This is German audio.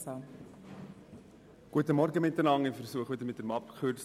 Ich möchte nur kurz zu dieser Massnahme etwas sagen.